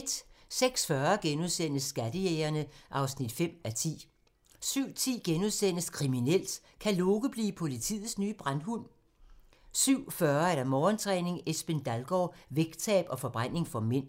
06:40: Skattejægerne (5:10)* 07:10: Kriminelt: Kan Loke blive politiets nye brandhund? * 07:40: Morgentræning: Esben Dalgaard - vægttab og forbræning for mænd